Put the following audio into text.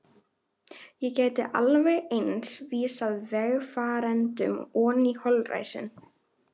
Ég gæti alveg eins vísað vegfarendum oní holræsin.